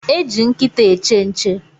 E eji nkịta eche nche